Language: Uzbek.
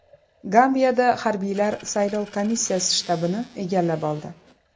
Gambiyada harbiylar saylov komissiyasi shtabini egallab oldi.